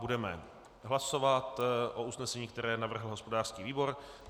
Budeme hlasovat o usnesení, které navrhl hospodářský výbor.